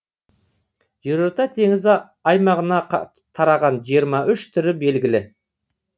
жерорта теңізі аймағына тараған жиырма үш түрі белгілі